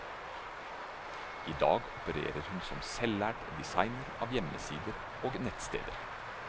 I dag opererer hun som selvlært designer av hjemmesider og nettsteder.